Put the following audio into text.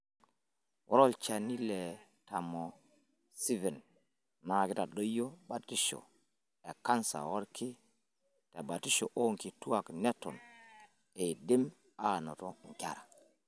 Ore olchani le Tamoxifen naa keitadoyio batisho e kansa oolki tebatisho oonkituak neton eidim aanoto nkera.